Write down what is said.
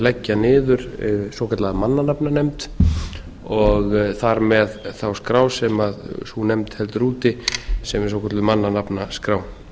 leggja niður svokallaða mannanafnanefnd og þar með þá skrá sem sú nefnd heldur úti sem er svokölluð mannanafnaskrá